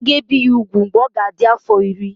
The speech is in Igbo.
A ga-ebi ya ugwu mgbe ọ ga-adị afọ iri.